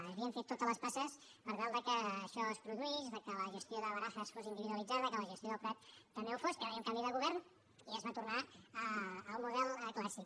s’havien fet totes les passes per tal de que això es produís de que la gestió de barajas fos individualitzada de que la gestió del prat també ho fos va haver hi un canvi de govern i es va tornar al model clàssic